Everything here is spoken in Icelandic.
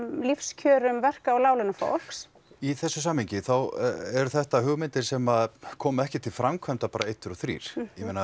lífskjörum verka og láglaunafólks í samhengi eru þetta hugmyndir sem koma ekki til framkvæmda bara einn tveir og þrír